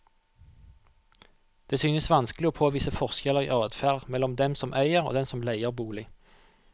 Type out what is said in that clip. Det synes vanskelig å påvise forskjeller i adferd mellom dem som eier og dem som leier bolig.